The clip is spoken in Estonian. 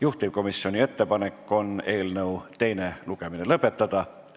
Juhtivkomisjoni ettepanek on eelnõu teine lugemine lõpetada.